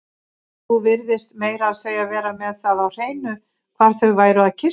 Þú virtist meira að segja vera með það á hreinu hvar þau væru að kyssast